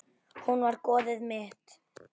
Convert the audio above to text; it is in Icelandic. Hún var goðið mitt.